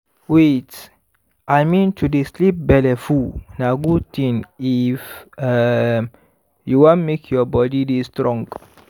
wait! i mean to dey sleep belleful na good thing i f um you wan make your body dey strong